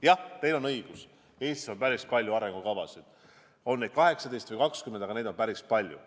Jah, teil on õigus: Eestis on päris palju arengukavasid, neid on 18 või 20 ehk siis üsna palju.